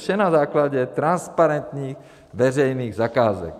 Vše na základě transparentních veřejných zakázek.